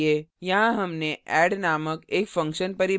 यहाँ हमने add नामक एक function परिभाषित किया है